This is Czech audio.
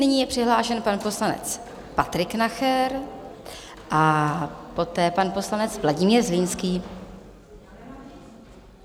Nyní je přihlášen pan poslanec Patrik Nacher a poté pan poslanec Vladimír Zlínský.